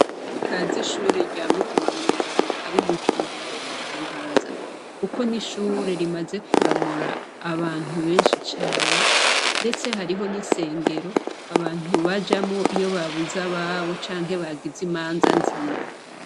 Utaz’ishuri rya Mutimamweranda ab’iBujumbura yontangaza. kuko n’ishure rimaze kuramura abantu benshi cane ndetse hariho n’isengero abantu bajamwo iyo babuze ababo canke nagize imanza nziza.